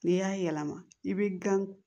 N'i y'a yɛlɛma i bi gan